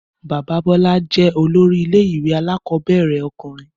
Bàbá Bọ́lá jẹ́ olórí ilé ìwé alákọ̀ọ́bẹ̀rẹ̀ ọkùnrin